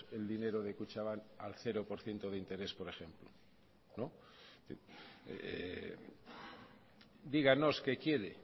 el dinero de kutxabank al cero por ciento de interés por ejemplo díganos qué quiere